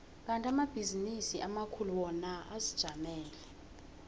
kandi amabhizinisi amakhulu wona azijamele